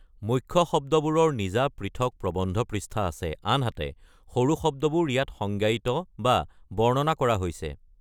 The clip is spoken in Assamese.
মুখ্য শব্দবোৰৰ নিজা পৃথক প্ৰবন্ধ পৃষ্ঠা আছে, আনহাতে সৰু শব্দবোৰ ইয়াত সংজ্ঞায়িত বা বৰ্ণনা কৰা হৈছে।